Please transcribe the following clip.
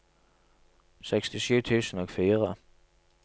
sekstisju tusen og fire